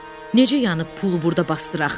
Necə yəni pulu burda basdıraq?